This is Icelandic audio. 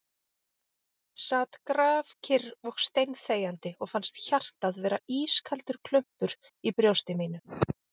Sat grafkyrr og steinþegjandi og fannst hjartað vera ískaldur klumpur í brjósti mínu ...